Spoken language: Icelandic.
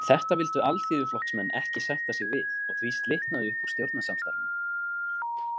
Þetta vildu Alþýðuflokksmenn ekki sætta sig við og því slitnaði upp úr stjórnarsamstarfinu.